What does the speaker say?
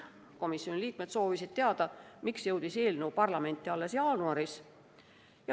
Komisjoni liikmed soovisid teada, miks jõudis eelnõu parlamenti alles jaanuaris.